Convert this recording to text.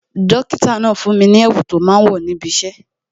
Dókítà náà fún mi ní èwù tó máa ń wò níbi isẹ